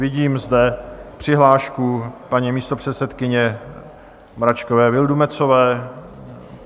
Vidím zde přihlášku paní místopředsedkyně Mračkové Vildumetzové.